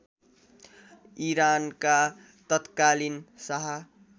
इरानका तत्कालीन शाह